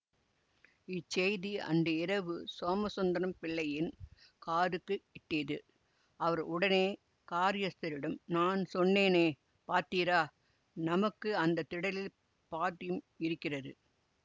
இச்செய்தி அன்று இரவு சோமசுந்தரம் பிள்ளையின் காதுக்கு எட்டியது அவர் உடனே காரியஸ்தரிடம் நான் சொன்னேனே பார்த்தீரா நமக்கு அந்த திடலில் பாட்டியம் இருக்கிறது